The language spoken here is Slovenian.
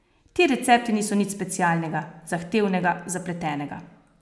Ti recepti niso nič specialnega, zahtevnega, zapletenega.